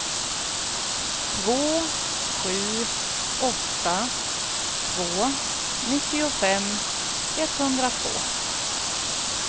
två sju åtta två nittiofem etthundratvå